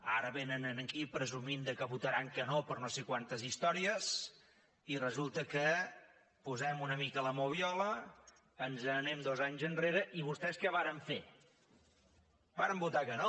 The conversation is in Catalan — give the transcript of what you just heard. ara vénen aquí presumint que votaran que no per no sé quantes històries i resulta que posem una mica la moviola ens n’anem dos anys enrere i vostès què varen fer varen votar que no